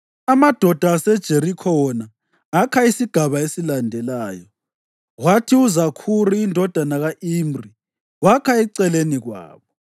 Amadoda aseJerikho wona akha isigaba esilandelayo, kwathi uZakhuri indodana ka-Imri wakha eceleni kwabo.